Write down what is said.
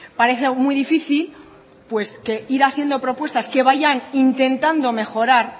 parece muy difícil pues que ir haciendo propuestas que vayan intentando mejorar